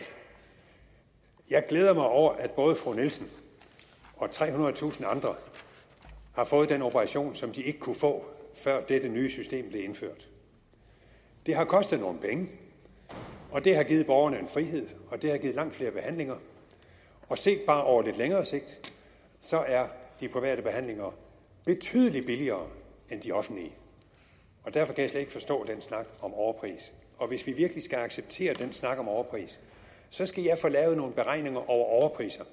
jeg glæder mig over at både fru nielsen og trehundredetusind andre har fået den operation som de ikke kunne få før dette nye system blev indført det har kostet nogle penge og det har givet borgerne en frihed og det har givet langt flere behandlinger og set over bare lidt længere sigt er de private behandlinger betydelig billigere end de offentlige derfor kan ikke forstå den snak om overpris og hvis vi virkelig skal acceptere den snak om overpris skal jeg få lavet nogle beregninger over overpriser